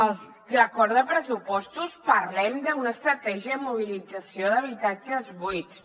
a l’acord de pressupostos parlem d’una estratègia de mobilització d’habitatges buits